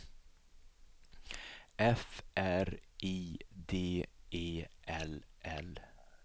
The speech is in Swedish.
F R I D E L L